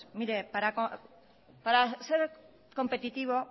para ser competitivo